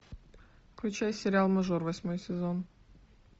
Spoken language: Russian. включай сериал мажор восьмой сезон